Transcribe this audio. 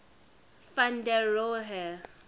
van der rohe